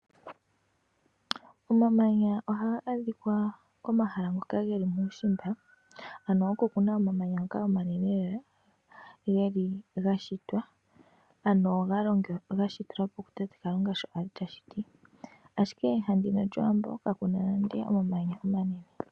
Omamanya ohaga adhika komaala ngoka geli muushimba ano okokuna omamanya ngoka omanene lela geli gashitwa ano galongelwa eshito kutate Kalunga sho ali tashiti ashike kehala lyowambo kakuna nande omamanya.